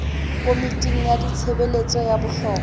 komiting ya ditshebeletso tsa bohlokwa